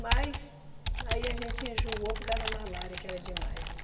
Mas aí a gente enjoou por causa da malária, que era demais.